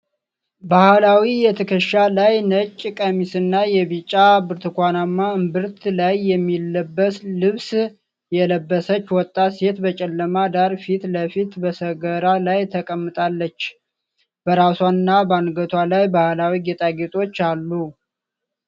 ባህላዊ የትከሻ ላይ ነጭ ቀሚስና የቢጫ/ብርቱካናማ እምብርት ላይ የሚለበስ ልብስ የለበሰች ወጣት ሴት በጨለማ ዳራ ፊት ለፊት በሰገራ ላይ ተቀምጣለች። በራሷና በአንገቷ ላይ ባህላዊ ጌጣጌጦች አሉ።